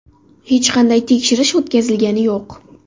Hech qanday tekshirish o‘tkazilgani yo‘q.